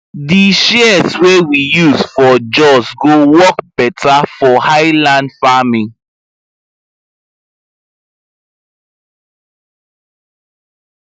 di shears wey we use for jos go work better for highland farming